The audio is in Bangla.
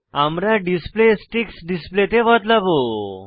আমরা ডিসপ্লে স্টিকস ডিসপ্লে তে বদলাবো